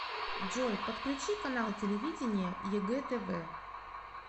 джой подключи канал телевидения егэ тв